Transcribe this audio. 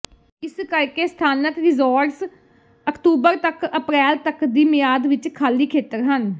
ਇਸ ਕਰਕੇ ਸਥਾਨਕ ਰਿਜ਼ੋਰਟਜ਼ ਅਕਤੂਬਰ ਤੱਕ ਅਪ੍ਰੈਲ ਤੱਕ ਦੀ ਮਿਆਦ ਵਿੱਚ ਖਾਲੀ ਖੇਤਰ ਹਨ